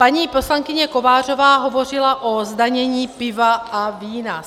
Paní poslankyně Kovářová hovořila o zdanění piva a vína.